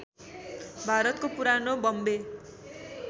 भारतको पुरानो बम्बे